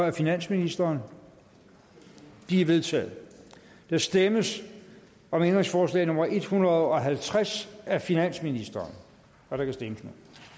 af finansministeren de er vedtaget der stemmes om ændringsforslag nummer en hundrede og halvtreds af finansministeren og der kan stemmes